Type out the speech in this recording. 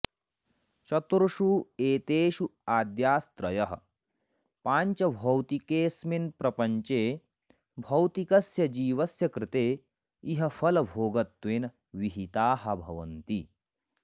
चतुर्षु एतेषु आद्यास्त्रयः पाञ्चभौतिकेऽस्मिन् प्रपञ्चे भौतिकस्य जीवस्य कृते इहफलभोगत्वेन विहिताः भवन्ति